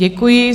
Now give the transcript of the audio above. Děkuji.